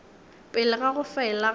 pele ga go fela ga